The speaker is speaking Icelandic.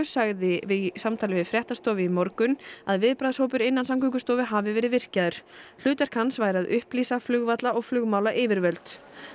sagði í samtali við fréttastofu í morgun að viðbragðshópur innan Samgöngustofu hafi verið virkjaður hlutverk hans væri að upplýsa flugvalla og flugmálayfirvöld